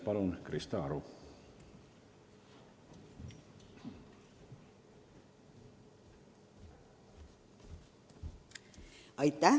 Palun, Krista Aru!